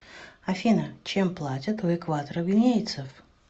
афина чем платят у экваторогвинейцев